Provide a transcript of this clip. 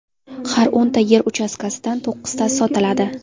Har o‘nta yer uchastkasidan to‘qqiztasi sotiladi.